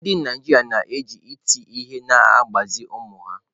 Ndị Naijiria na-eji iti ihe na-agbazi ụmụ ha